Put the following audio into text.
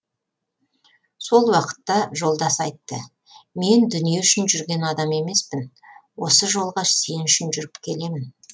сол уақытта жолдас айтты мен дүние үшін жүрген адам емеспін осы жолға сен үшін жүріп келемін